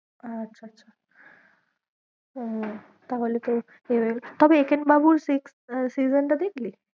আচ্ছা আচ্ছা আহ তাহলে তো তবে একেন বাবুর season টা দেখলি?